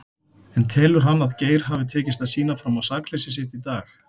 En telur hann að Geir hafi tekist að sýna fram á sakleysi sitt í dag?